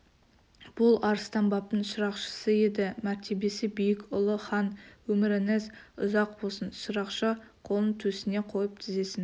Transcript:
бұл арыстанбаптың шырақшысы еді мәртебесі биік ұлы хан өміріңіз ұзақ болсын шырақшы қолын төсіне қойып тізесін